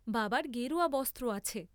বাবার গেরুয়া বস্ত্র আছে।